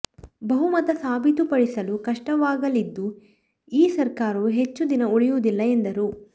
ಬಹುಮತ ಸಾಬೀತುಪಡಿಸಲೂ ಕಷ್ಟವಾಗಲಿದ್ದು ಈ ಸರ್ಕಾರವೂ ಹೆಚ್ಚು ದಿನ ಉಳಿಯುವುದಿಲ್ಲ ಎಂದರು